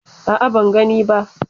A'a, ban gani ba.